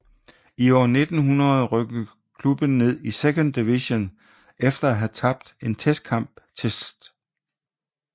I 1900 rykkede klubben ned i Second Division efter at have tabt en testkamp til St